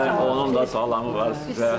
Onun da salamı var sizə.